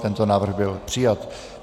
Tento návrh byl přijat.